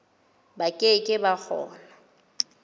ba ke ke ba kgona